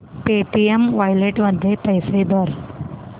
Paytm wallet मध्ये पैसे भर